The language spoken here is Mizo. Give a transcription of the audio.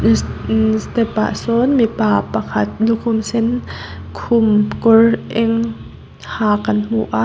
step ah sawn mipa pakhat lukhum sen khum kawr eng ha kan hmu aa--